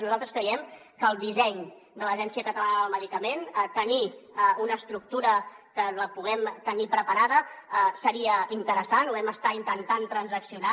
nosaltres creiem que el disseny de l’agència catalana del medicament ha de tenir una estructura que la puguem tenir preparada seria interessant ho vam estar intentant transaccionar